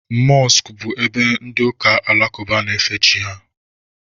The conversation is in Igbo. Mọskụ bụ ebe ndị ụka alakụba na-efe chi ha